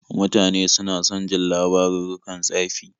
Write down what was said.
Mutane suna son jin labarurrukan tsafi.